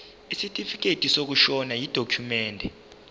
isitifikedi sokushona yidokhumende